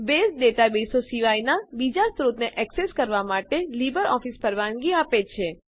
base ડેટાબેઝો સિવાયનાં બીજા સ્ત્રોતોને એક્સેસ કરવાં માટે લીબરઓફીસ પરવાનગી આપે છે